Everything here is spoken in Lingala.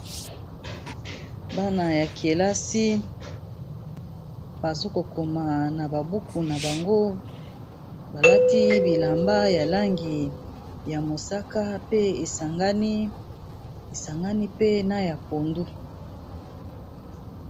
Bana ya kelasi bazokokoma na ba buku na bango balati bilamba ya langi ya mosaka pe esangani pe na ya pondu.